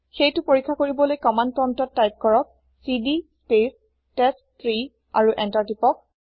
সেইটো পৰিক্ষা কৰিবলৈ কমান্দ প্ৰম্পতত তাইপ কৰক চিডি স্পেচ টেষ্টট্ৰী আৰু এন্তাৰ তিপক